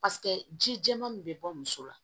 Paseke ji jɛman min bɛ bɔ muso la